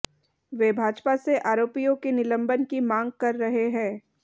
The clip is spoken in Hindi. वे भाजपा से आरोपियों के निलंबन की मांग कर रहे हैं